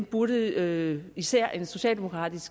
burde især især en socialdemokratisk